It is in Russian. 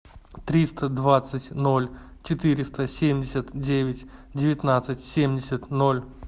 триста двадцать ноль четыреста семьдесят девять девятнадцать семьдесят ноль